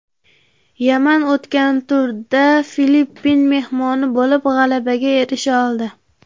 Yaman o‘tgan turda Filippin mehmoni bo‘lib g‘alabaga erisha oldi.